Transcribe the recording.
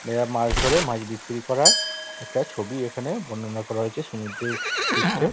এরা মাছ ধরে মাছ বিক্রি করা একটা ছবি এখানে বর্ণনা করা হয়েছে সমুদ্রের পৃষ্ঠে |